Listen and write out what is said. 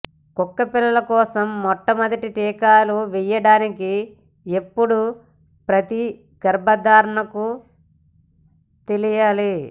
కుక్కపిల్ల కోసం మొట్టమొదటి టీకాలు వేయడానికి ఎప్పుడు ప్రతి గర్భధారణకు తెలియాలి